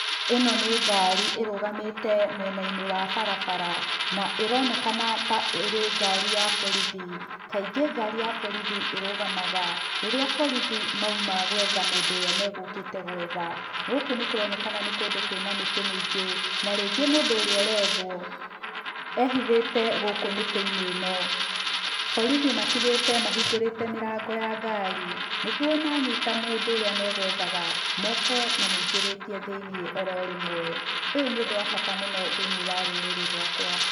Ĩno nĩ ngari ĩrũgamĩte mwena-inĩ wa barabara. Na ĩronekana ta ĩrĩ ngari ya borithi. Kaingĩ ngari ya borithi ĩrũgamaga rĩrĩa borithi mauma gwetha mũndũ ũrĩa megũkĩte gwetha. Gũkũ nĩ kũronekana nĩ kũndũ kwĩna mĩtĩ mĩingĩ, na rĩngĩ mũndũ ũria ũrethwo, ehithĩte gũkũ mĩtĩ-inĩ ĩno. Borithi matigĩte mahingũrĩte mĩrango ya ngari nĩguo manyita mũndũ ũrĩa megwethaga, moke mamũingĩrĩtie thĩiniĩ oro rĩmwe. Ũyũ nĩ ũndũ wa bata kũrĩ rũrĩrĩ rwakwa.